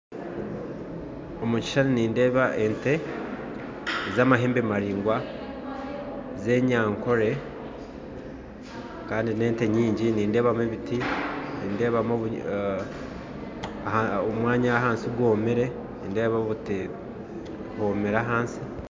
Omukishushani nindeeba ente z'amahembe maraingwa z'enyankore kandi nente nyingi nindeebamu ebiti kandi ahansi omwanya gwomire.